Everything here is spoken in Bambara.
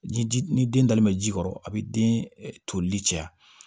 Jiji ni den dalen bɛ ji kɔrɔ a bɛ den tolili cɛya